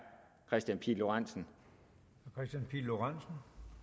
kristian pihl lorentzen lorentzen